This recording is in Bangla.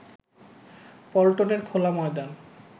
পল্টনের খোলা ময়দান